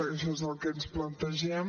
això és el que ens plantegem